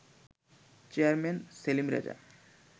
chairman Selim Reza